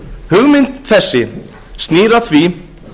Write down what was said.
hugmynd þessi snýr að því